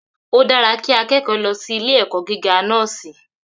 Odára kí akẹẹkọ lọ sí ilé èkó gíga nọ́ọ́si